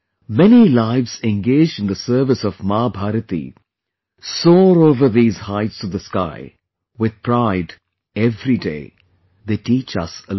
Many lives engaged in the service of Maa Bharati soar over these heights of the sky with pride every day; they teach us a lot